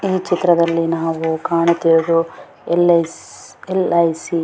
ಈ ಚಿತ್ರದಲ್ಲಿ ನಾವು ಕಾಣುತ್ತಿರುವುದು ಎಲ್.ಐ. ಎಲ್.ಐ.ಸಿ __